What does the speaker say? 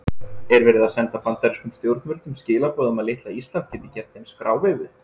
Er verið að senda bandarískum stjórnvöldum skilaboð um að litla Ísland geti gert þeim skráveifu?